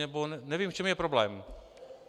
Nebo nevím, v čem je problém.